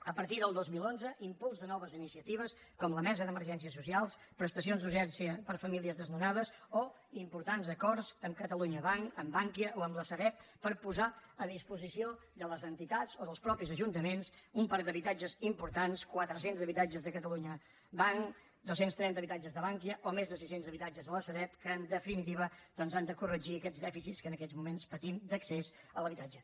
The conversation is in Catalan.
a partir del dos mil onze impuls de noves iniciatives com la mesa d’emergències socials prestacions d’urgència per a famílies desnonades o importants acords amb catalunya banc amb bankia o amb la sareb per posar a disposició de les entitats o dels mateixos ajuntaments un parc d’habitatges important quatre cents habitatges de catalunya banc dos cents i trenta habitatges de bankia o més de sis cents habitatges de la sareb que en definitiva han de corregir aquests dèficits que en aquests moments patim d’accés a l’habitatge